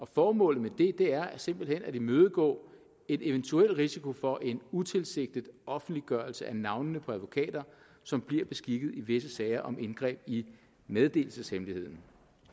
formålet med det er simpelt hen at imødegå en eventuel risiko for en utilsigtet offentliggørelse af navnene på advokater som bliver beskikket i visse sager om indgreb i meddelelseshemmeligheden